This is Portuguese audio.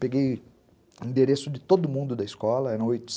Peguei endereço de todo mundo da escola, eram oito